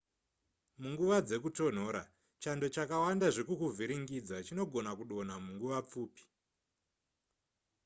munguva dzekutonhora chando chakawanda zvekukuvhiringidza chinogona kudonha munguva pfupi